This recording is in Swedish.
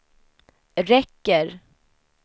räcker